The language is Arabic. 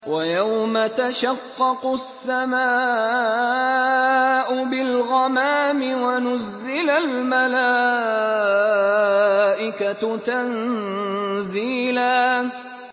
وَيَوْمَ تَشَقَّقُ السَّمَاءُ بِالْغَمَامِ وَنُزِّلَ الْمَلَائِكَةُ تَنزِيلًا